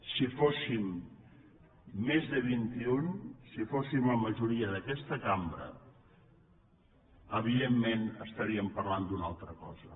si fóssim més de vintiun si fóssim la majoria d’aquesta cambra evidentment estaríem parlant d’una altra cosa